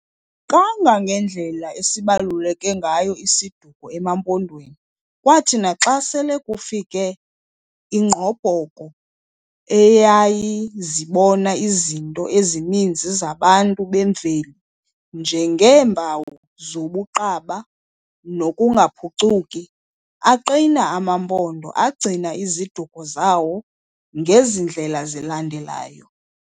Kangangendlela esibaluleke ngayo isiduko emaMpondweni, kwathi naxa sele kufike ingqobhoko eyayizibona izinto ezininzi zabantu bemveli njengeempawu zobuqaba nokungaphucuki, aqina amaMpondo agcina iziduko zawo ngezi ndlela zilandelayo.